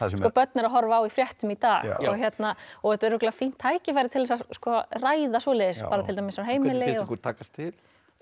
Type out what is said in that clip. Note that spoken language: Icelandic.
sem börn eru á horfa á í fréttum í dag þetta er örugglega fínt tækifæri til að ræða svoleiðis bara til dæmis á heimili hvernig ykkur takast til